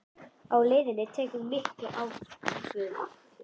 Á leiðinni tekur hún mikla ákvörðun